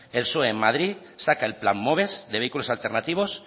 el psoe en madrid saca el plan moves de vehículos alternativos